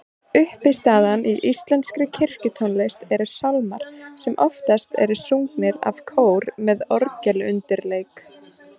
Uppistaðan í íslenskri kirkjutónlist eru sálmar sem oftast eru sungnir af kór með orgelundirleik.